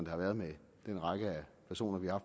har været med den række af personer vi har